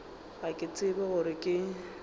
ga ke tsebe gore ke